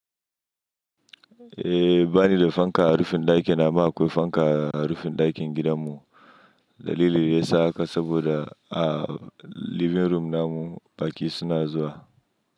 Eh, bani da fankar rufin ɗaki, amma akwai fankar a rufin ɗakin gidanmu. Dalilin da ya sa haka saboda a living room namu baƙi suna zuwa.